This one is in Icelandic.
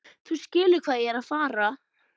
Þú skilur hvað ég er að fara.